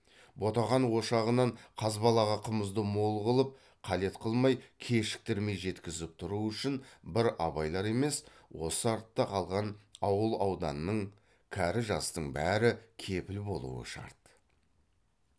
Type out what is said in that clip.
ботақан ошағынан қазбалаға қымызды мол қылып қалет қылмай кешіктірмей жеткізіп тұру үшін бір абайлар емес осы артта қалған ауыл ауданның кәрі жастың бәрі кепіл болуы шарт